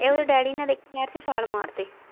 ਇਹ ਉਹਦੇ ਡੈਡੀ ਨੇ ਦੇਖੀ ਨਹਿਰ ਚ ਛਾਲ ਮਾਰਤੀ।